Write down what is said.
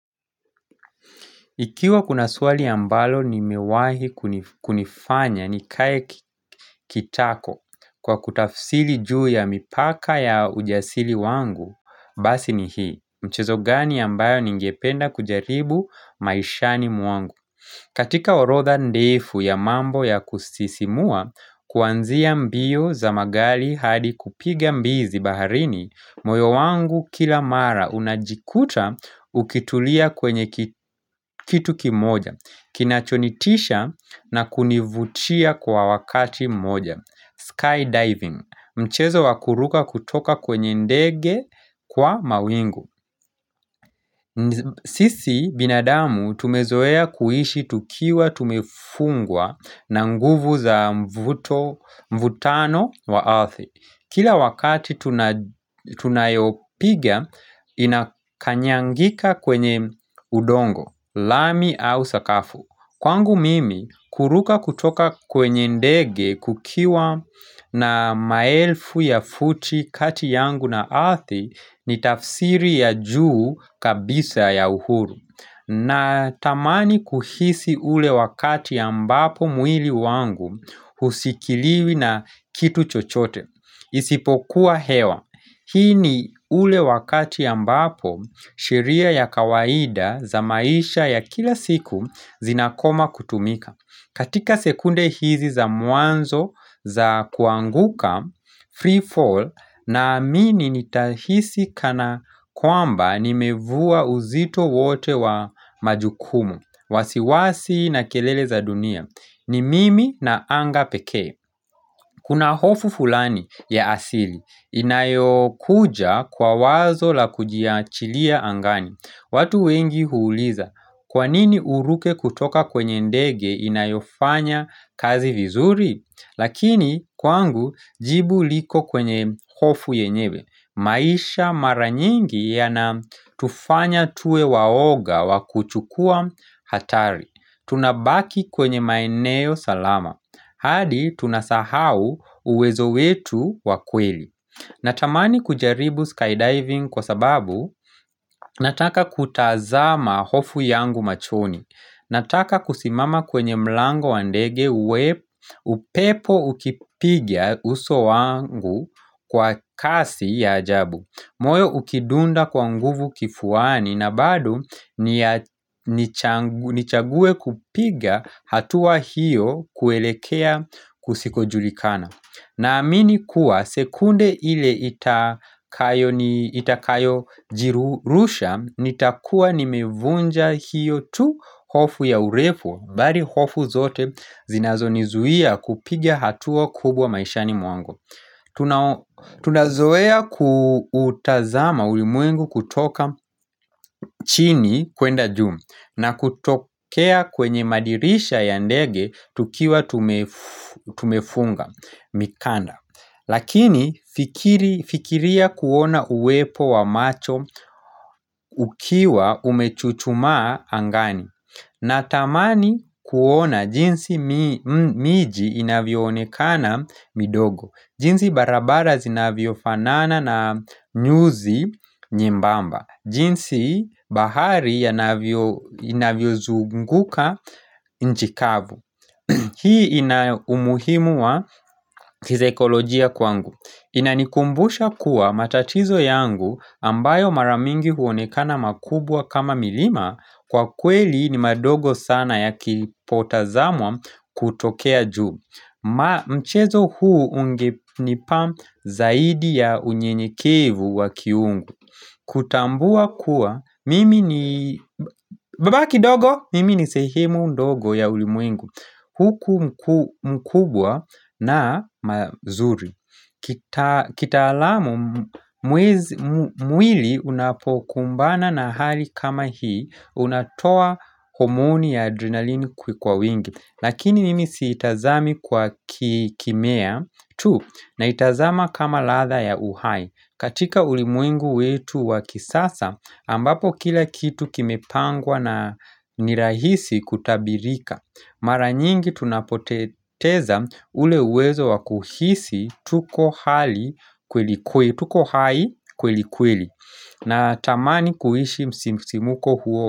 Ikiwa kuna swali ambalo nimewahi kunifanya nikae kitako kwa kutafsiri juu ya mipaka ya ujasili wangu, basi ni hii. Mchezo gani ambayo ningependa kujaribu maishani mwangu. Katika orodha ndefu ya mambo ya kusisimua, kuanzia mbio za magari hadi kupiga mbizi baharini, moyo wangu kila mara unajikuta ukitulia kwenye kitu kimoja, kinachonitisha na kunivutia kwa wakati mmoja. Skydiving, mchezo wakuruka kutoka kwenye ndege kwa mawingu. Sisi binadamu tumezoea kuishi tukiwa tumefungwa na nguvu za mvuto mvutano wa ardhi Kila wakati tunayopiga inakanyangika kwenye udongo, lami au sakafu Kwangu mimi, kuruka kutoka kwenye ndege kukiwa na maelfu ya futi kati yangu na ardhi ni tafsiri ya juu kabisa ya uhuru. Natamani kuhisi ule wakati ambapo mwili wangu hushikiliwi na kitu chochote. Isipokuwa hewa, hii ni ule wakati ambapo sheria ya kawaida za maisha ya kila siku zinakoma kutumika katika sekunde hizi za mwanzo za kuanguka free fall na amini nitahisi kana kwamba nimevua uzito wote wa majukumu wasiwasi na kelele za dunia, ni mimi na anga pekee Kuna hofu fulani ya asili. Inayokuja kwa wazo la kujiachilia angani. Watu wengi huuliza. Kwanini uruke kutoka kwenye ndege inayofanya kazi vizuri? Lakini kwangu jibu liko kwenye hofu yenyewe. Maisha mara nyingi yanatufanya tuwewaoga wa kuchukua hatari Tunabaki kwenye maeneo salama hadi tunasahau uwezo wetu wa kweli Natamani kujaribu skydiving kwa sababu Nataka kutazama hofu yangu machoni Nataka kusimama kwenye mlango wa ndege upepo ukipiga uso wangu kwa kasi ya ajabu moyo ukidunda kwa nguvu kifuani na bado nichague kupiga hatua hiyo kuelekea kusikojulikana Naamini kuwa sekunde ile itakayojirusha nitakuwa nimevunja hiyo tu hofu ya urefu bali hofu zote zinazonizuia kupiga hatua kubwa maishani mwangu Tunazoea kuutazama ulimwengu kutoka chini kwenda juu na kutokea kwenye madirisha ya ndege tukiwa tumefunga mikanda Lakini fikiria kuona uwepo wa macho ukiwa umechuchumaa angani Natamani kuona jinsi miji inavyoonekana midogo jinsi barabara zinavyofanana na nyuzi nyembamba jinsi bahari inavyozunguka nchi kavu Hii ina umuhimu wa kisaikolojia kwangu Inanikumbusha kuwa matatizo yangu ambayo mara mingi huonekana makubwa kama milima Kwa kweli ni madogo sana ya kilipotazamwa kutokea juu Mchezo huu ungenipa zaidi ya unyenyekevu wakiungu kutambua kuwa mimi ni baba kidogo mimi ni sehemu ndogo ya ulimwengu Huku mkubwa na mazuri kitaalamu mwili unapokumbana na hali kama hii unatoa homooni ya adrenalini kwa wingi Lakini nimi siitazami kwa kimea tu naitazama kama ladha ya uhai katika ulimwengu wetu wa kisasa ambapo kila kitu kimepangwa na nirahisi kutabirika Mara nyingi tunapoteza ule uwezo wakuhisi tuko hai kwelikweli natamani kuishi msisimuko huo.